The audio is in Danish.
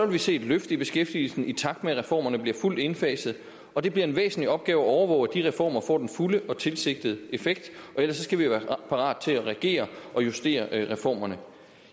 vi se et løft i beskæftigelsen i takt med at reformerne bliver fuldt indfaset og det bliver en væsentlig opgave at overvåge at de reformer får den fulde og tilsigtede effekt og ellers skal vi være parat til at reagere og justere reformerne